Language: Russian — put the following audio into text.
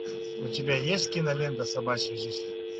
у тебя есть кинолента собачья жизнь